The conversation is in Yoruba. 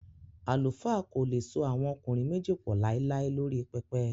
Àlùfáà kò le so àwọn ọkùnrin méjì pọ̀ láíláí lórí pẹpẹ